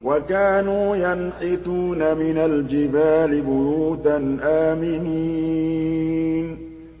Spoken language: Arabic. وَكَانُوا يَنْحِتُونَ مِنَ الْجِبَالِ بُيُوتًا آمِنِينَ